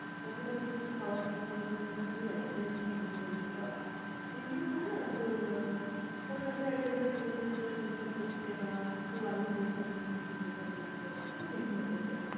বাকিটা হয়তো কিছু খাওয়ার থাকলো বা কেউ কোন কিছুর advertise নিয়ে বসে পরলো বা বিভিন্ন হয় না তোর আহ কোন একটা academy খুলেছে সেটার প্রচার করছে বা কেউ আয়ুর্বেদ something কিছু প্রচার করছে এরকম বিভিন্ন type এর।